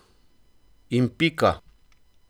In pika!